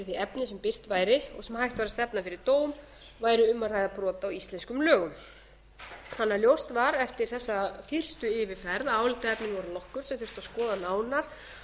því efni sem birt væri og sem hægt væri að stefna fyrir dóm væri um að ræða brot á íslenskum lögum þannig að ljóst var eftir þessa fyrstu yfirferð að álitaefnin voru nokkur sem þurfti að skoða nánar